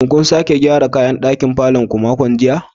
Shin kun sake gyara kayan ɗaki a cikin falon ku a makon jiya?